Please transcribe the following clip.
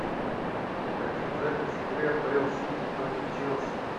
хотим запись игры апл сити против челси